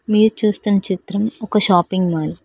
మీరు చూస్తున్ చిత్రం ఒక షాపింగ్ మాల్.